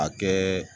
A kɛ